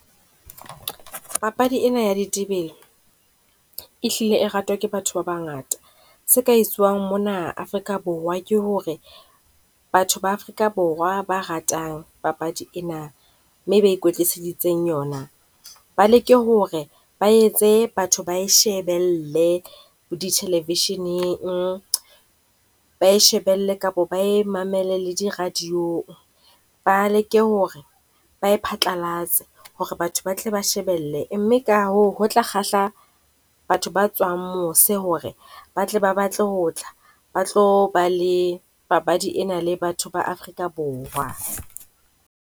Papadi ena ya ditebele, e hlile e ratwa ke batho ba bangata. Se ka etswuwang mona Afrika Borwa ke ho re batho ba Afrika Borwa ba ratang papadi ena, mme e ba ikwetliseding yona. Ba leke ho re ba etse batho ba e shebelle di television-eng, ba e shebelle kapo ba e mamele le di radio-ng. Ba leke ho re ba e phatlalatse ho re batho ba tle ba shebelle, mme ka hoo ho tla kgahla batho ba tswang mose ho re batle ba batle ho tla. Ba tlo ba le papadi ena le batho ba Afrika Borwa.